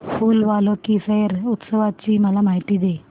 फूल वालों की सैर उत्सवाची मला माहिती दे